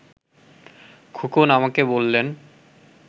খোকন আমাকে বললেন